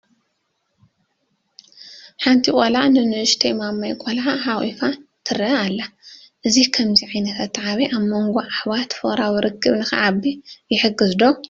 ሓንቲ ቆልዓ ንንኡሽተይ ማማይ ቆልዓ ሓቒፋ ትርአ ኣላ፡፡ እዚ ከምዚ ዓይነት ኣተዓባብያ ኣብ መንጐ ኣሕዋት ፍቕራዊ ረኽቢ ንኽዓቢ ይሕግዝ ዶ?